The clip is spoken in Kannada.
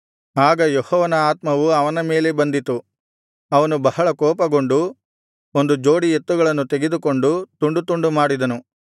ಆಗ ಯೆಹೋವನ ಆತ್ಮವು ಅವನ ಮೇಲೆ ಬಂದಿತು ಅವನು ಬಹಳ ಕೋಪಗೊಂಡು ಒಂದು ಜೋಡಿ ಎತ್ತುಗಳನ್ನು ತೆಗೆದುಕೊಂಡು ತುಂಡು ತುಂಡು ಮಾಡಿದನು